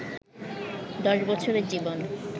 দশ বছরের জীবন